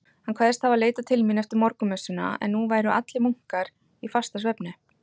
Hann kvaðst hafa leitað mín eftir morgunmessuna, en nú væru allir munkar í fastasvefni.